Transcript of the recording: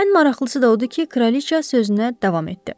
Ən maraqlısı da o idi ki, kraliça sözünə davam etdi.